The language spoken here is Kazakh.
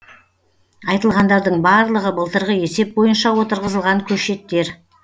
айтылғандардың барлығы былтырғы есеп бойынша отырғызылған көшеттер